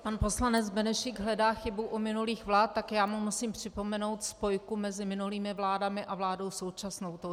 Pan poslanec Benešík hledá chybu u minulých vlád, tak já mu musím připomenout spojku mezi minulými vládami a vládou současnou.